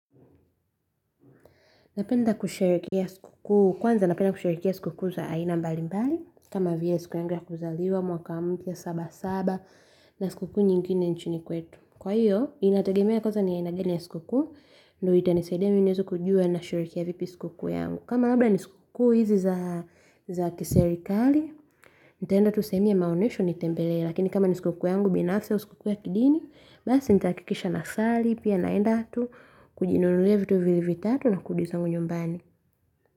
Napenda kusherehekea sikukuu kwanza napenda kusherehekea sikukuu za aina mbalimbali kama vile siku yangu ya kuzaliwa mwaka mpya saba saba na sikukuu nyingine nchini kwetu. Kwa hiyo, inategemea kwanza ni aina gani ya sikukuu ndiyo itanisaidia mimi niweze kujua nasherehekea vipi sikukuu yangu. Kama labda ni sikukuu hizi za kiserikali, nitaenda tu sehemu ya maonesho nitembelee, lakini kama ni sikukuu yangu binafsi au sikukuu ya kidini, basi nitahakikisha nasali, pia naenda tu kujinunulia vitu viwili vitatu na kurudi zangu nyumbani.